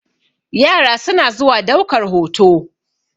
yara suna zuwa daukar hoto